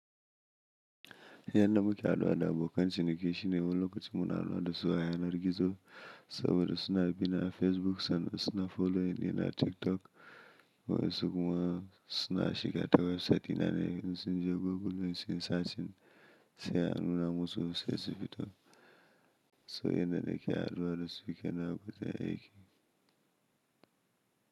Yanda muke haduwa da abokan ciniki shine wani lokaci muna haduwa da su a yanar gizo saboda suna bi na Facebook sannan suna follow dina na a TikTok. Wasu kuma suna shiga ta website dina ne, suna je Googling sun search yin sai an nuna musu website ta. So yana da ke haduwa da su yake na gudanar da aiki.